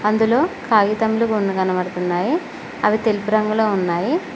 అందులో కాగితములుగా కొన్ని కనబడుతున్నాయి అవి తెలుపు రంగులో ఉన్నాయి.